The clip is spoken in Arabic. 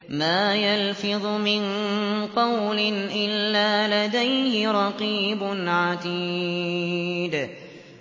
مَّا يَلْفِظُ مِن قَوْلٍ إِلَّا لَدَيْهِ رَقِيبٌ عَتِيدٌ